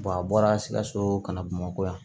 a bɔra sikaso ka na bamakɔ yan